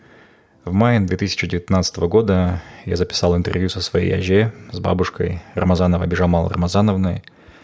в мае две тысячи девятнадцатого года я записал интервью со своей әже с бабушкой рамазановой бижамал рамазановной